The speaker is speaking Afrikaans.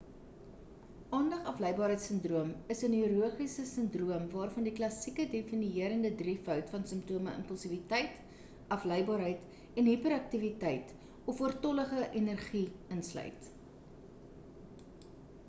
aandag afleibaarheids sindroom is 'n neurologiese sindroom waarvan die klassieke definierende drievoud van simptome impulsiwiteit afleibaarheid en hiperaktiwiteit of oortollige energie insluit